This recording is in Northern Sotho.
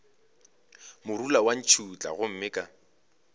morula wa ntšhutha gomme ka